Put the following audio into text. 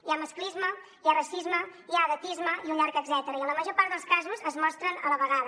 hi ha masclisme hi ha racisme hi ha edatisme i un llarg etcètera i en la major part dels casos es mostren a la vegada